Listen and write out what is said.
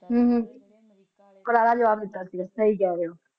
ਹਮ ਕਰਾਰ ਜਵਾਬ ਦਿੱਤਾ ਸੀਗਾ ਸਹੀ ਕਹਿ ਰਹੇ ਹੋ